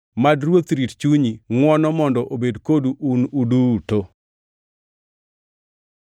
Mad Ruoth rit chunyi. Ngʼwono mondo obed kodu un duto.